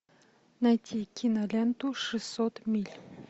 найти киноленту шестьсот миль